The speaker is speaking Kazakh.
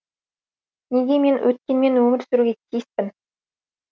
неге мен өткенмен өмір сүруге тиіспін